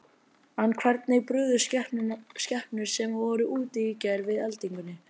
En hvernig brugðust skepnur sem voru úti í gær við eldingunni?